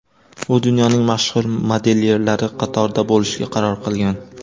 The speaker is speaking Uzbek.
U dunyoning mashhur modelyerlari qatorida bo‘lishga qaror qilgan.